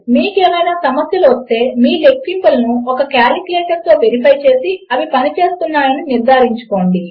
మీకు ఏవైనా సమస్యలు వస్తే మీ లెక్కింపులను ఒక కాలిక్యులేటర్తో వెరిఫై చేసి అవి పనిచేస్తున్నాయని నిర్ధారించుకోండి